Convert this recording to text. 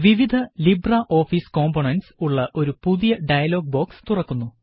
വിവിധ LibreOffice components ഉള്ള ഒരു പുതിയ ഡയലോഗ് ബോക്സ് തുറക്കുന്നു